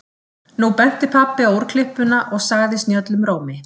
Nú benti pabbi á úrklippuna og sagði snjöllum rómi